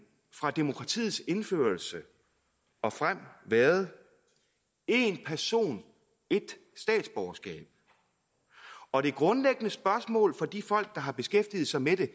fra demokratiets indførelse og frem været én person ét statsborgerskab og det grundlæggende spørgsmål for de folk der har beskæftiget sig med det